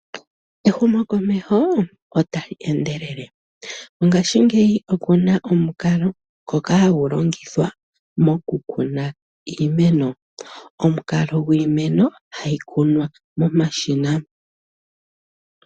Ehumokomeho ota li endelele, mongaashi ngeyi okuna omukalo ngoka hagu longithwa mokukuna iimeno, omukalo gwiimeno hayi kunwa momashina.